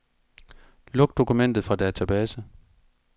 Luk dokument fra database.